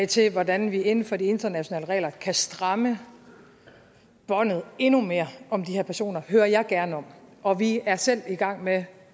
til hvordan vi inden for de internationale regler kan stramme båndet endnu mere om de her personer hører jeg gerne om og vi er selv i gang med